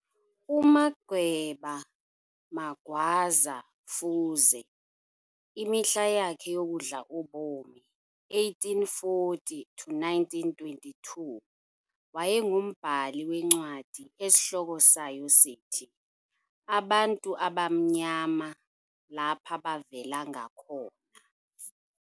UMagema Magwaza Fuze, imihla yakhe yokudla ubomi 1840 to 1922, wayengumbhali wencwadi esihloko sayo sithi - "Abantu Abamnyama Lapa Bavela Ngakona."